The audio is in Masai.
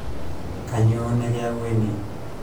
kanyoo nekiyawua ene